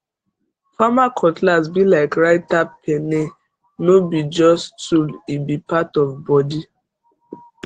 farmer cutlass be like writer pene no be just tool e be part of body